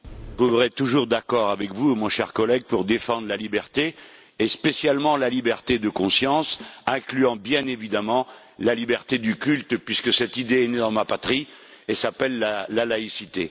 Je serai toujours d'accord avec vous, cher collègue, pour défendre la liberté et, spécialement, la liberté de conscience incluant, bien évidemment, la liberté de culte, puisque cette idée est née dans ma patrie et s'appelle la laïcité.